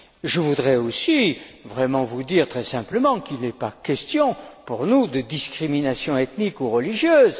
Je voudrais aussi vous dire, très simplement, qu'il n'est pas question pour nous de discrimination ethnique ou religieuse.